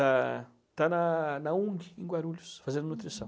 Está está na na UNG, em Guarulhos, fazendo nutrição.